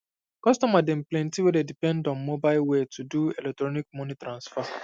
customer dem plenty wey dey um depend um on mobile way to do electronic um moni transfer